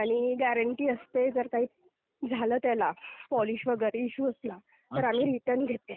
आणि ग्यारंटी असते जर काही झालं त्याला, पॉलिश वगैरे इश्यू असला तर आम्ही रिटर्न घेते.